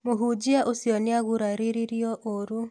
Mũhũnjia ũcio nĩagũraririo ũũrũ